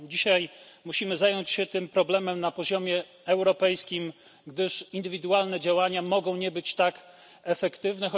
Dzisiaj musimy zająć się tym problemem na poziomie europejskim, gdyż indywidualne działania mogą nie być tak efektywne.